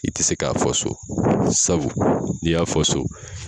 I te se k'a fɔ so sabu n'i y'a fɔ so